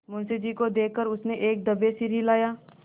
मुंशी जी को देख कर उसने एक दफे सिर हिलाया